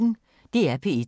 DR P1